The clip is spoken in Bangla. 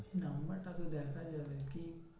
Number টা তো দেখা যাবে কি